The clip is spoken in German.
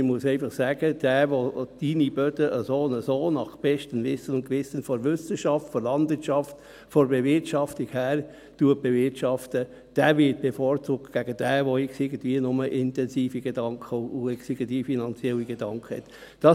Man muss einfach sagen: Wer seine Böden nach bestem Wissen und Gewissen, nach dem Wissenschaft der Landwirtschaft, von der Bewirtschaftung her, bewirtschaftet, wird gegenüber demjenigen bevorzugt, der nur intensive Gedanken und x-beliebige finanzielle Gedanken hat.